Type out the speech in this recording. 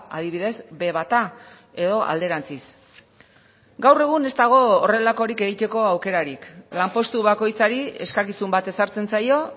adibidez be bata edo alderantziz gaur egun ez dago horrelakorik egiteko aukerarik lanpostu bakoitzari eskakizun bat ezartzen zaio